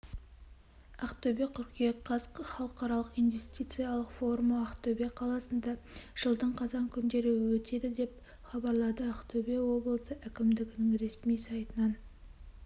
ақтөбе қыркүйек қаз халықаралық инвестициялық форумы ақтөбе қаласында жылдың қазан күндері өтеді деп хабарлады ақтөбе облысы әкімдігінің ресми сайтынан